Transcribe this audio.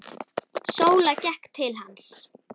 Sóla gekk til hans.